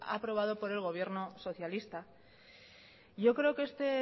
aprobado por el gobierno socialista yo creo que este